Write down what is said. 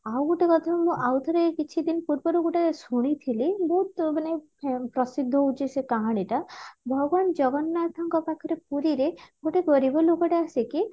ଆଉ ଗୋଟେ କଥା ଶୁଣିବ ଆଉଥରେ କିଛିଦିନ ପୂର୍ବରୁ ଗୋଟେ ଶୁଣିଥିଲି ବହୁତ ମାନେ ଫେ ପ୍ରସିଦ୍ଧ ହଉଛି ସେ କାହାଣୀ ଟା ଭଗବାନ ଜଗନ୍ନାଥଙ୍କ ପାଖରେ ପୁରୀରେ ଗୋଟେ ଗରିବ ଲୋକ ଟେ ଆସିକି